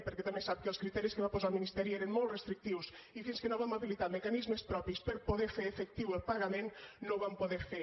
perquè també sap que els criteris que va posar el ministeri eren molt restrictius i fins que no vam habilitar mecanismes propis per poder fer efectiu el pagament no ho vam poder fer